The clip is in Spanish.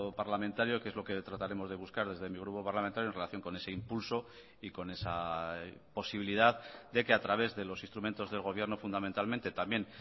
parlamentario que es lo que trataremos de buscar desde mi grupo parlamentario en relación con ese impulso y con esa posibilidad de que a través de los instrumentos del gobierno fundamentalmente también